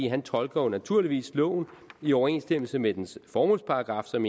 han tolker jo naturligvis loven i overensstemmelse med dens formålsparagraf som